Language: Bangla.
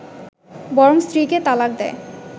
বরং স্ত্রীকে তালাক দেয়